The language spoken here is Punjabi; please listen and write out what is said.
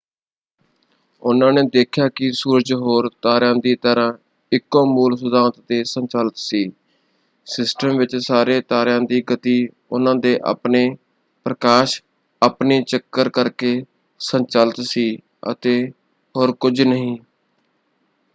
ਉਹਨਾਂ ਨੇ ਦੇਖਿਆ ਕਿ ਸੂਰਜ ਹੋਰ ਤਾਰਿਆਂ ਦੀ ਤਰ੍ਹਾਂ ਇੱਕੋ ਮੂਲ ਸਿਧਾਂਤ 'ਤੇ ਸੰਚਾਲਿਤ ਸੀ: ਸਿਸਟਮ ਵਿੱਚ ਸਾਰੇ ਤਾਰਿਆਂ ਦੀ ਗਤੀ ਉਹਨਾਂ ਦੇ ਆਪਣੇ ਪ੍ਰਕਾਸ਼ ਆਪਣੀ ਚੱਕਰ ਕਰਕੇ ਸੰਚਾਲਿਤ ਸੀ ਅਤੇ ਹੋਰ ਕੁਝ ਨਹੀਂ।